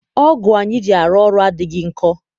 ọgụ anyị ji arụ ọrụ adịghị nkọ.